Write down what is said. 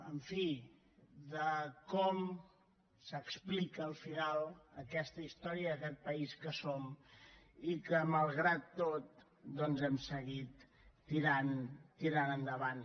en fi de com s’explica al final aquesta història i aquest país que som i que malgrat tot doncs hem seguit tirant endavant